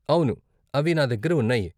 అవును, అవి నా దగ్గర ఉన్నాయి.